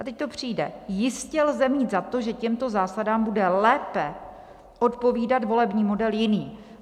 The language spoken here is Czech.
A teď to přijde: "Jistě lze mít za to, že těmto zásadám bude lépe odpovídat volební model jiný."